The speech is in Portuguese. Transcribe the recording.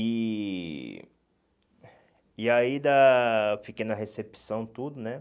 E... E aí da fiquei na recepção tudo, né?